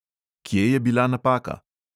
Kje je bila napaka?